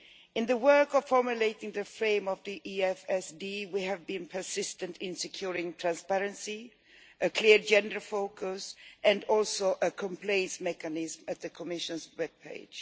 In the work of formulating the framework of the EFSD, we have been persistent in securing transparency, a clear gender focus and also a complaints mechanism at the Commission's webpage.